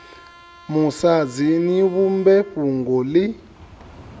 musadzi ni vhumbe fhungo ḽi